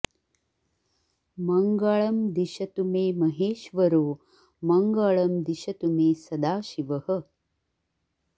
मङ्गळं दिशतु मे महेश्वरो मङ्गळं दिशतु मे सदाशिवः